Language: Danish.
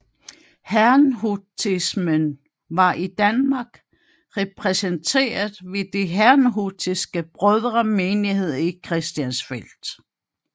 Herrnhutismen var i Danmark repræsenteret ved Den herrnhutiske Brødremenighed i Christiansfeld